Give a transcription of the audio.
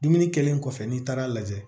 Dumuni kɛlen kɔfɛ n'i taara a lajɛ